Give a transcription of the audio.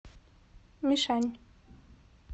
мишань